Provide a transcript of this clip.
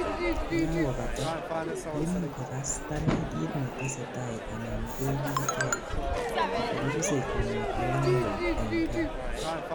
yekakobata, koimuch kogas tanai kiit netesetai anan kogilkei, akorusei kwonget yon loo en gaa